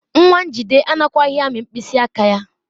Nwa Njide anakwaghị amị mkpịsị aka ya.